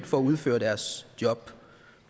for at udføre deres job